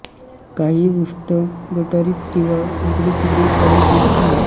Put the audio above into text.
काहीही उष्ट गटारीत किंवा इकडे तिकडे पडु देत नाहीत